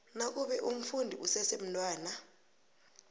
nakube umfundi usesemntwana